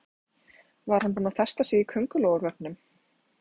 Var hann búinn að festa sig í kóngulóarvefnum?